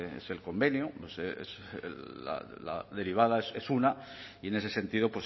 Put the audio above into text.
es el convenio la derivada es una y en ese sentido